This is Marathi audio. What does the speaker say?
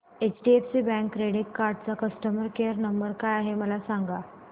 एचडीएफसी बँक क्रेडीट कार्ड चा कस्टमर केयर नंबर काय आहे मला सांगा